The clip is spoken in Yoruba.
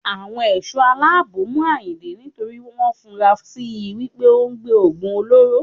Àwọn Ẹ̀ṣọ́ aláàbò mú Àyìndé nítorí wọn fura si wípé òun gbé Ògùn olóró.